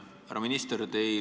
Härra minister!